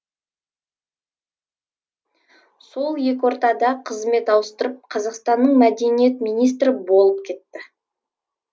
сол екі ортада қызмет ауыстырып қазақстанның мәдениет министрі болып кетті